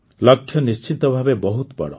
ଲକ୍ଷ୍ୟ ନିଶ୍ଚିତ ଭାବେ ବହୁତ ବଡ଼